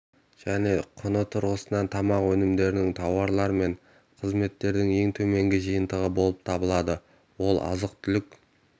және құны тұрғысынан тамақ өнімдерінің тауарлар мен қызметтердің ең төменгі жиынтығы болып табылады ол азық-түлік